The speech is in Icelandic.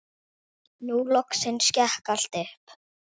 Nú loksins gekk allt upp.